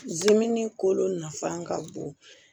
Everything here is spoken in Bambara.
Zimini kolo nafan ka bon